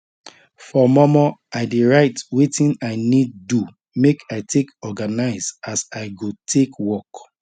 for mormor i dey write weting i need do make i take organize as i go take work